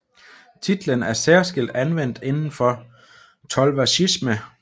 Titlen er særskilt anvendt inden for Tolvershiisme